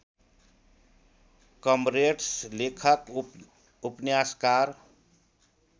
comrades लेखक उपन्यासकार